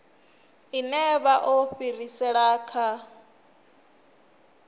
ine vha o fhirisela kha